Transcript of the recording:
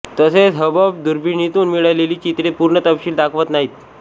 तसेच हबल दूर्बिणितून मिळालेली चित्रे पूर्ण तपशील दाखवत नाहीत